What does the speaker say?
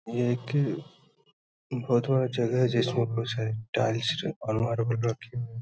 ये एक बहोत बड़ा जगह है जिसमें बहोत सारे टाइल्स और मार्बल रखे हुए हैं।